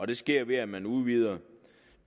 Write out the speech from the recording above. det sker ved at man udvider